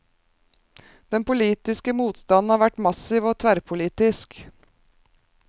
Den politiske motstanden har vært massiv og tverrpolitisk.